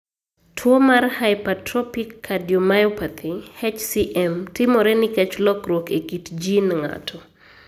Tuwo mar hypertrophic cardiomyopathy (HCM) timore nikech lokruok e kit gene ng'ato.